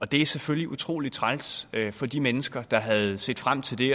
det er selvfølgelig utrolig træls for de mennesker der havde set frem til det